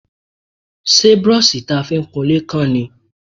Ṣé brọ́ṣì ta fi ń kunlé kán ni?